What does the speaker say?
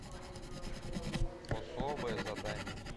особое задание